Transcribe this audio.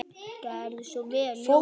Gerðu svo vel, Jónas!